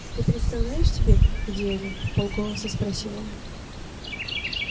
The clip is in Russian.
ты представляешь тебе где они вполголоса спросил он